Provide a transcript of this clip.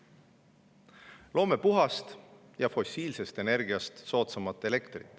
Loome puhast elektrit, mis on fossiilsest energiast soodsam.